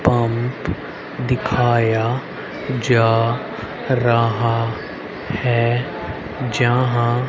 काम दिखाया जा रहा है जहां--